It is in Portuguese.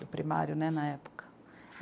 Do primário, né, na época.